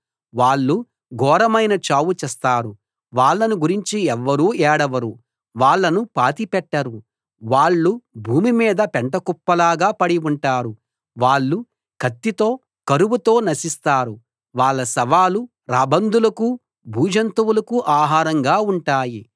వాళ్ళు ఘోరమైన చావు చస్తారు వాళ్ళను గురించి ఎవ్వరూ ఏడవరు వాళ్ళను పాతిపెట్టరు వాళ్ళు భూమి మీద పెంటకుప్పలాగా పడి ఉంటారు వాళ్ళు కత్తితో కరువుతో నశిస్తారు వాళ్ళ శవాలు రాబందులకూ భూజంతువులకూ ఆహారంగా ఉంటాయి